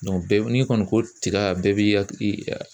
bɛɛ n'i kɔni ko tiga bɛɛ bi hakili